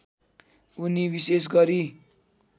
उनी विशेष गरी